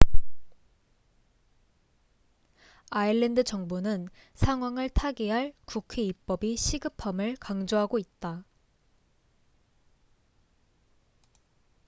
아일랜드 정부는 상황을 타개할 국회 입법이 시급함을 강조하고 있다